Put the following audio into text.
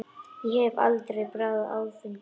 Ég hef aldrei bragðað áfengi.